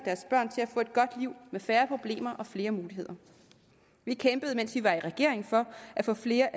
og at godt liv med færre problemer og flere muligheder vi kæmpede mens vi var i regering for at få flere